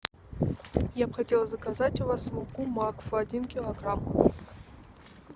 я б хотела заказать у вас муку макфа один килограмм